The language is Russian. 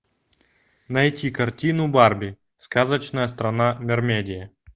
найти картину барби сказочная страна мермедия